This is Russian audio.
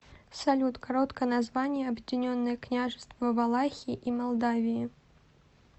салют короткое название объединенное княжество валахии и молдавии